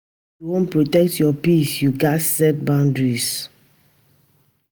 If you wan protect your peace, you gats set boundaries.